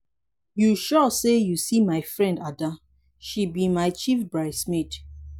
you sure say you see my friend ada she be my chief bride's maid.